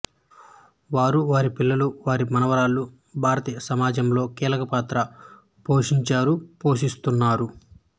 వారు వారి పిల్లలు వారి మనవరాళ్లు భారతీయసమాజంలో కీలకపాత్ర పోషించారుపోషిస్తున్నారు